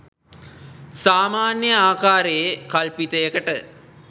සාමාන්‍ය ආකාරයේ කල්පිතයකට